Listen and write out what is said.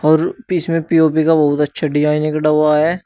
और में पी_ओ_पी का बहुत अच्छा डिजाइन हुआ है।